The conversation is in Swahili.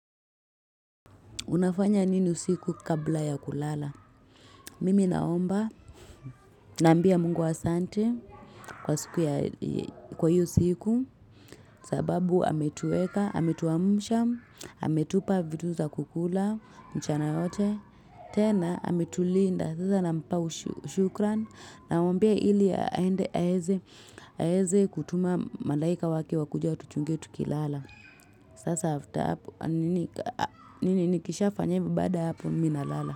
Unafanya nini usiku kabla ya kulala?. Mimi naomba nambia mungu asante kwa siku kwa iyo siku. Sababu ametuweka, ametuamsha, ametupa vitu za kukula, mchana yote. Tena ametulinda sasa nampa shukrani. Naombea ili aweze kutuma malaika wake wakuja watuchunge tukilala. Sasa nikisha fanye ivyon baada ya hapo Mi nalala.